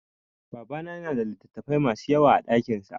Babana ya na da littattafai ma su yawa a dakinsa